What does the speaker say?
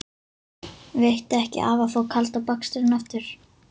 Veitti ekki af að fá kalda baksturinn aftur.